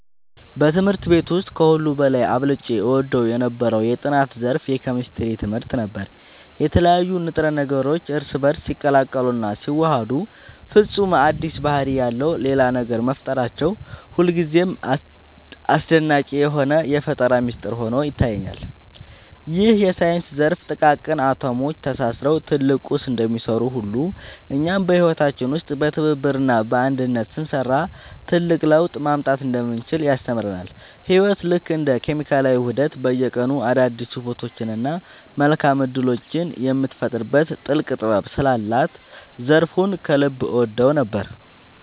በትምህርት ቤት ውስጥ ከሁሉ በላይ አብልጬ እወደው የነበረው የጥናት ዘርፍ የኬሚስትሪ ትምህርት ነበር። የተለያዩ ንጥረ ነገሮች እርስ በእርስ ሲቀላቀሉና ሲዋሃዱ ፈጽሞ አዲስ ባህሪ ያለው ሌላ ነገር መፍጠራቸው ሁልጊዜም አስደናቂ የሆነ የፈጠራ ሚስጥር ሆኖ ይታየኛል። ይህ የሳይንስ ዘርፍ ጥቃቅን አቶሞች ተሳስረው ትልቅ ቁስ እንደሚሰሩ ሁሉ፣ እኛም በህይወታችን ውስጥ በትብብርና በአንድነት ስንሰራ ትልቅ ለውጥ ማምጣት እንደምንችል ያስተምረናል። ህይወት ልክ እንደ ኬሚካላዊ ውህደት በየቀኑ አዳዲስ ውበቶችንና መልካም እድሎችን የምትፈጥርበት ጥልቅ ጥበብ ስላላት ዘርፉን ከልብ እወደው ነበር።